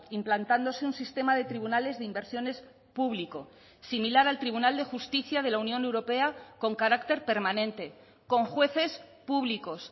implantándose un sistema de tribunales de inversiones público similar al tribunal de justicia de la unión europea con carácter permanente con jueces públicos